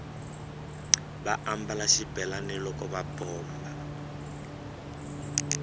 va ambala xibelani loko va bomba